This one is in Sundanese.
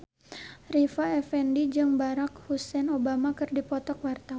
Rita Effendy jeung Barack Hussein Obama keur dipoto ku wartawan